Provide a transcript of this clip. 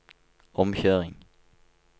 omkjøring